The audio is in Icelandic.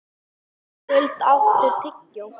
Skuld, áttu tyggjó?